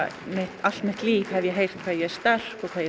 allt mitt líf hef ég heyrt hvað ég er sterk hvað ég